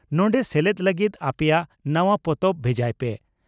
ᱱᱚᱸᱰᱮ ᱥᱮᱞᱮᱫ ᱞᱟᱹᱜᱤᱫ ᱟᱯᱮᱭᱟᱜ ᱱᱟᱣᱟ ᱯᱚᱛᱚᱵ ᱵᱷᱮᱡᱟᱭ ᱯᱮ